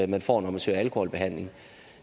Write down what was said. man får når man søger alkoholbehandling